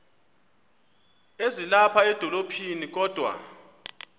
ezilapha edolophini kodwa